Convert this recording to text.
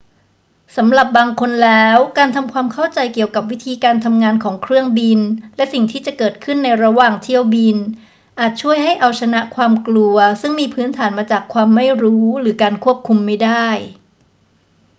สำหรับบางคนแล้ว การทำความเข้าใจเกี่ยวกับวิธีการทำงานของเครื่องบินและสิ่งที่จะเกิดขึ้นในระหว่างเที่ยวบิน อาจช่วยให้เอาชนะความกลัวซึ่งมีพื้นฐานมาจากความไม่รู้หรือการควบคุมไม่ได้